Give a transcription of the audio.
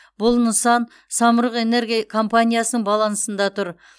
бұл нысан самұрық энерго компаниясының балансында тұр